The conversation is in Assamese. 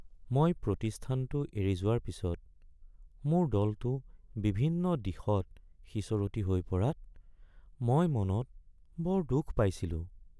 মই প্ৰতিষ্ঠানটো এৰি যোৱাৰ পিছত মোৰ দলটো বিভিন্ন দিশত সিঁচৰতি হৈ পৰাত মই মনত বৰ দুখ পাইছিলোঁ।